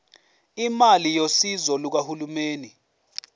imali yosizo lukahulumeni